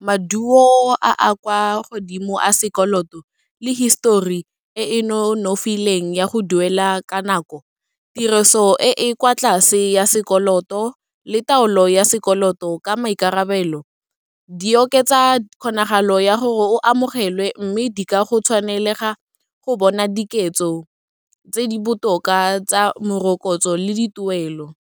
Maduo a a kwa godimo a sekoloto le histori e e nonofileng ya go duela ka nako, tiriso e e kwa tlase ya sekoloto le taolo ya sekoloto ka maikarabelo, di oketsa kgonagalo ya gore o amogelwe mme di ka go tshwanelega go bona diketso tse di botoka tsa morokotso le dituelo.